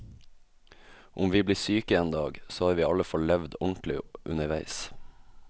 Om vi blir syke en dag, så har vi i alle fall levd ordentlig underveis.